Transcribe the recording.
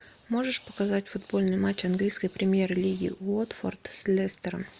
можешь показать футбольный матч английской премьер лиги уотфорд с лестером